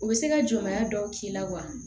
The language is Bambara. U bɛ se ka jɔbaya dɔw k'i la wa